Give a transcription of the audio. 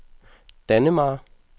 Dannemare